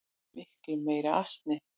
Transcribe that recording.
Miklu meiri asni.